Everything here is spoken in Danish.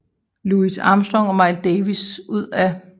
Louis Armstrong og Miles Davis ud af